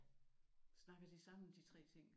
Snakker de sammen de 3 ting?